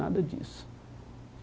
Nada disso.